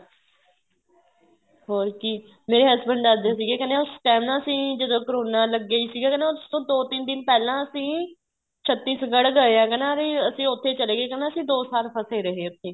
ਹੋਰ ਕੀ ਮੇਰੇ husband ਦੱਸਦੇ ਸੀ ਕਹਿੰਦੇ ਉਸ time ਨਾ ਅਸੀਂ ਜਦੋਂ ਕਰੋਨਾ ਲੱਗਿਆ ਹੀ ਸੀਗਾ ਕਹਿੰਦਾ ਉਸ ਤੋਂ ਦੋ ਤਿੰਨ ਦਿਨ ਪਹਿਲਾਂ ਅਸੀਂ ਛੱਤੀਸ਼ਗੜ੍ਹ ਗਏ ਆ ਕਹਿੰਦਾ ਅਸੀਂ ਦੋ ਸਾਲ ਫਸੇ ਰਹੇ ਉੱਥੇ ਹੀ